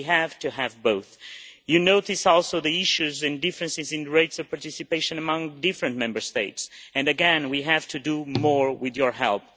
We have to have both. You notice also the issues and differences in rates of participation among different Member States and again, we have to do more with your help.